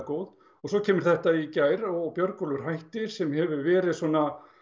góð svo kemur þetta í gær og Björgólfur hættir sem hefur verið svona